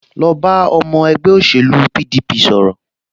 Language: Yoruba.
Lọ bá ọmọ ẹgbẹ́ òṣèlú PDP sọ̀rọ̀